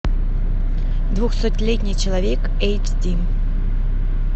двухсотлетний человек эйч ди